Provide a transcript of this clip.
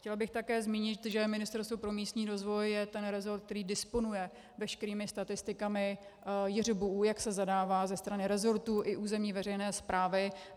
Chtěla bych také zmínit, že Ministerstvo pro místní rozvoj je ten resort, který disponuje veškerými statistikami JŘBU, jak se zadává ze strany resortu i územní veřejné správy.